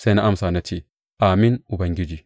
Sai na amsa na ce, Amin, Ubangiji.